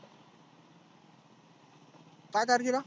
काय तारखीला?